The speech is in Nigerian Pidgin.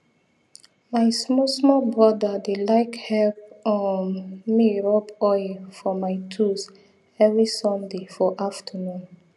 my small small brother dey like help um me rub oil for my tools every sunday for afternoon